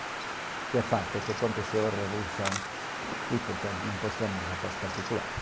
O que é fato é que aconteceu a revolução e, portanto, não passou nada para os particulares.